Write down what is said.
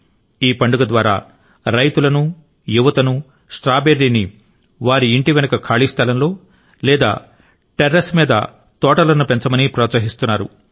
ఈ పండుగ ద్వారా రైతులను యువతను స్ట్రాబెర్రీని వారి ఇంటి వెనుక ఖాళీ స్థలంలో లేదా టెర్రస్ మీద తోటలను పెంచమని ప్రోత్సహిస్తున్నారు